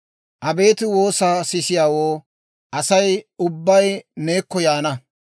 Abeet woosaa sisiyaawoo, asay ubbay neekko yaana.